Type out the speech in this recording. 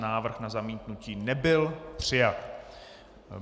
Návrh na zamítnutí nebyl přijat.